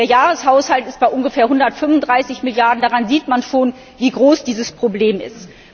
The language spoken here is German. Der Jahreshaushalt liegt bei ungefähr 135 Milliarden Euro. Daran sieht man schon, wie groß dieses Problem ist.